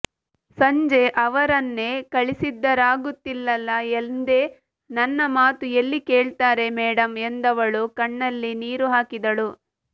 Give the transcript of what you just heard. ಸಂಜೆ ಅವರನ್ನೇ ಕಳಿಸಿದ್ದರಾಗುತ್ತಿತ್ತಲ್ಲಾ ಎಂದೆ ನನ್ನ ಮಾತು ಎಲ್ಲಿ ಕೇಳ್ತಾರೆ ಮೇಡಮ್ ಎಂದವಳು ಕಣ್ಣಲ್ಲಿ ನೀರು ಹಾಕಿದಳು